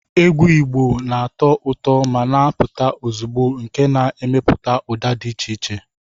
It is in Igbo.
Egwu Igbo na-atọ ụtọ ma na-apụta ozugbo nke na-emepụta ụda dị iche iche